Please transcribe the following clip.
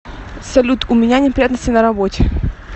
салют у меня неприятности на работе